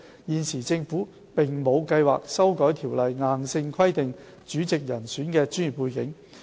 現時，政府並無計劃修例硬性規定主席人選的專業背景。